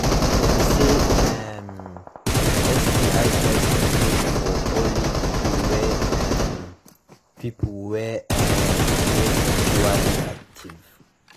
dem say um sti testing good for only people wey um people wey um de sexually active